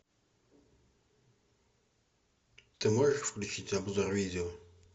ты можешь включить обзор видео